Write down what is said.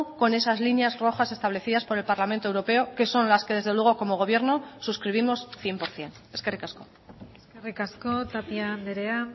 con esas líneas rojas establecidas por el parlamento europeo que son las que desde luego como gobierno suscribimos cien por ciento eskerrik asko eskerrik asko tapia andrea